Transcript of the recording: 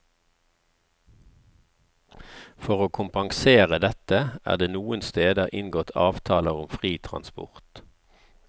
For å kompensere dette, er det noen steder inngått avtaler om fri transport.